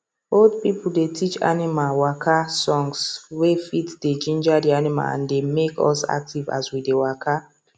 old people dey teach animal waka songs wey fit dey ginger the animals and dey make us active as we dey waka